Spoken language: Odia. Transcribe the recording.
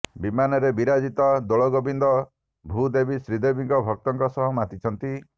ବିମାନରେ ବିରାଜିତ ଦୋଳଗୋବିନ୍ଦ ଭୂଦେବୀ ଶ୍ରୀଦେବୀ ଭକ୍ତଙ୍କ ସହ ମାତିଛନ୍ତି